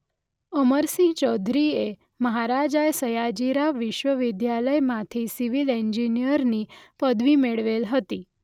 અમરસિંહ ચૌધરીએ મહારાજા સયાજીરાવ વિશ્વવિદ્યાલયમાંથી સિવિલ ઇજનેરની પદવી મેળવેલ હતી.